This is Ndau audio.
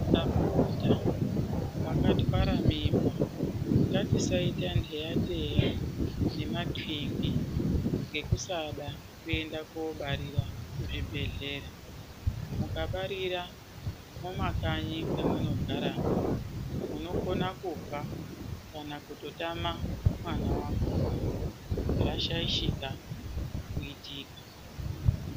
Ndapota vakatwara mimba ngatisaita nheyateya ngemapinge ngekusada kuenda kobarira kuzvibhedhleya. Mukabarira mumakanyi memunogaramo munokona kufa kana kutotama mwana vakona zvashaishika kuitika.